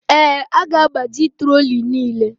Ee, a ga-agbaji trolley niile.